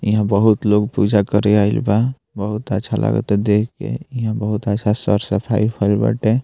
यहाँ बहुत लोग पूजा करे आईल बा बहुत अच्छा लगता देख के यहाँ बहुत अच्छा सर-सफाई भईल बाटे।